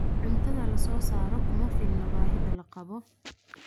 Cuntada la soo saaray kuma filna baahida loo qabo.